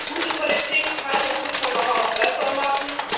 Gute Politik kann und muss man aber auch besser machen.